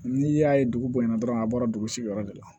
N'i y'a ye dugu bonya na dɔrɔn a bɔra dugu sigiyɔrɔ de la